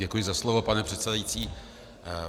Děkuji za slovo, pane předsedající.